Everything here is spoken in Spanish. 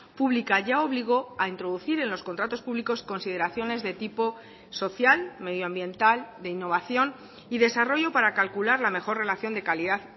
pública ya obligó a introducir en los contratos públicos consideraciones de tipo social medioambiental de innovación y desarrollo para calcular la mejor relación de calidad